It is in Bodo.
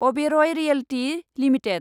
Oberoi realty limited